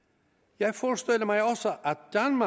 jeg forestiller mig